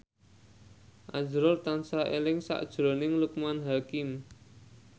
azrul tansah eling sakjroning Loekman Hakim